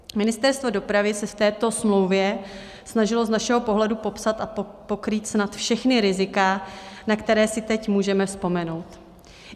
Ministerstvo dopravy se v této smlouvě snažilo z našeho pohledu popsat a pokrýt snad všechna rizika, na která si teď můžeme vzpomenout.